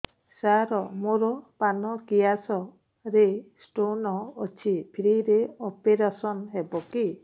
ସାର ମୋର ପାନକ୍ରିଆସ ରେ ସ୍ଟୋନ ଅଛି ଫ୍ରି ରେ ଅପେରସନ ହେବ କି